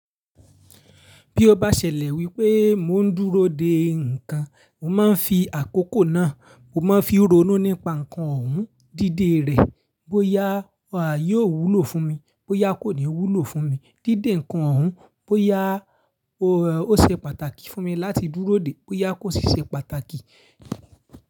Bí ó bá ṣẹlẹ̀ wípé mò ń dúró dè ǹkan, mo máa ń fi àkókò náà, mo máa ń fi ronú nípa ǹkan ọ̀hún, díde rẹ̀ bóyá a yóò wúlò fún mi, bóyá kò ní wúlò fún mi. Díde ǹkan ọ̀hún, bóyá ó ṣe pàtàkì fún mi láti dúró dè, bóyá kò ṣiṣẹ́ pàtàkì.